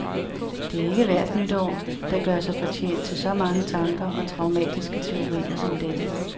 Det er ikke hvert nytår, der gør sig fortjent til så mange tanker og traumatiske teorier som dette.